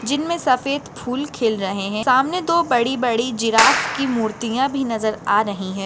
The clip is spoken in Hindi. जिनमे सफ़ेद फूल खिल रहे है सामने दो बड़ी बड़ी जिराफ की मूर्तिया भी नजर आ रही है।